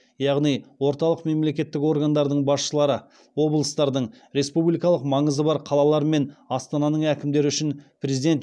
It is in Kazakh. яғни орталық мемлекеттік органдардың басшылары облыстардың республикалық маңызы бар қалалар мен астананың әкімдері үшін президент